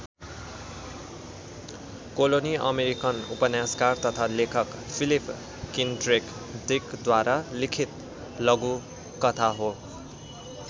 Colony American उपन्यासकार तथा लेखक फिलिप किन्ड्रेक डिकद्वारा लिखित लघुकथा हो।